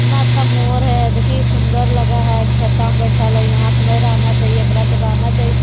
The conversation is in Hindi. कितना अच्छा मोर है देखहि सुंदर लग हइ खेता में बैठल हइ यहाँ नहीं रहना चाहिए एकरा त रहना चाहिए--